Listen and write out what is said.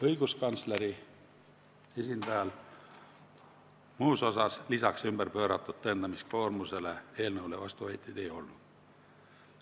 Õiguskantsleri esindajal peale ümberpööratud tõendamiskoormuse eelnõule vastuväiteid ei olnud.